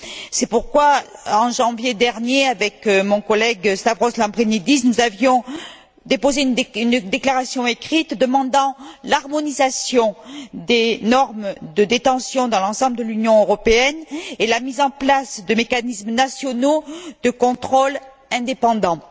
C'est pourquoi en janvier dernier, avec mon collègue Stavros Lambrinidis, nous avions déposé une déclaration écrite demandant l'harmonisation des normes de détention dans l'ensemble de l'Union européenne et la mise en place de mécanismes nationaux de contrôle indépendants.